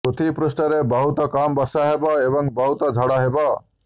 ପୃଥିବୀ ପୃଷ୍ଠରେ ବହୁତ କମ୍ ବର୍ଷା ହେବ ଏବଂ ବହୁତ ଝଡ଼ ହେବ